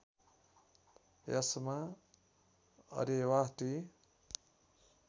यसमा अरेवा टी